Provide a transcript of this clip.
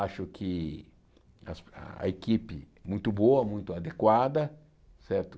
Acho que as a equipe é muito boa, muito adequada, certo?